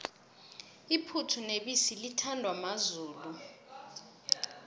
iphuthu nebisi lithandwa mazulu